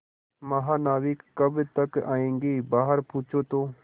महानाविक कब तक आयेंगे बाहर पूछो तो